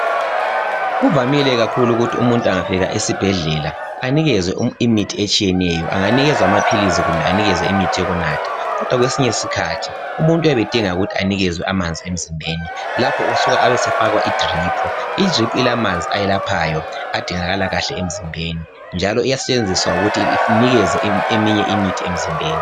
Kuvamile kakhulu ukuthi umuntu angafika esibhedlela anikezwe imithi etshiyeneyo. Anganikezwa amaphilisi kumbe anikezwe imithi yokunatha kodwa kwesinye isikhathi umuntu uyabedinga ukuthi anikezwe amanzi emzimbeni lapha usuka abesefakwa iDrip. I drip ilamanzi ayelaphayo adingakala kahle emzimbeni njalo iyasetshenziswa ukuthi inikeze eminye imithi emzimbeni